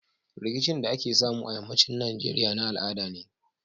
Rikicin da ake samu a yamma cin nigeria na al'ada ne